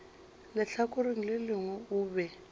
lehlakoreng le lengwe o be